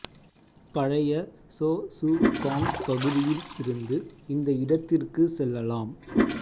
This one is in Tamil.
பழைய சோ சு காங் பகுதியில் இருந்து இந்த இடத்திற்கு செல்லலாம்